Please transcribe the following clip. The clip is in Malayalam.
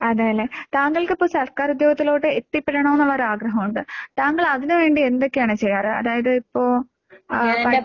അതേല്ലേ. താങ്കൾക്കിപ്പോ സർക്കാരുദ്യോഗത്തിലോട്ട് എത്തിപ്പെടണോന്നൊള്ളൊര് ആഗ്രഹോണ്ട്. താങ്കളതിനുവേണ്ടി എന്തൊക്കെയാണ് ചെയ്യാറ്? അതായതിപ്പോ ആഹ് പ